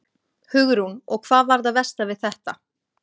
Hugrún: Og hvað var það versta við þetta?